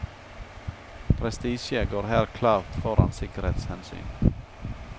Prestisje går her klart foran sikkerhetshensyn.